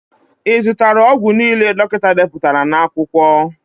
I zụtara ọgwụ niile dọkịta deputara n'akwụkwọ?